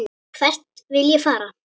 Hvert vil ég fara?